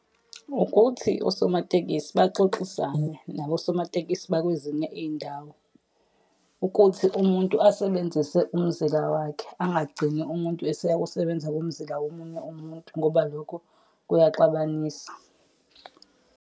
Ukuthi osomatekisi baxoxisane nabosomatekisi bakwezinye iy'ndawo, ukuthi umuntu asebenzise umzila wakhe angagcini umuntu eseya Kosebenza kumzila womunye umuntu ngoba lokho kuyaxabanisa.